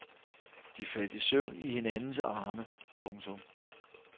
De faldt i søvn i hinandens arme. punktum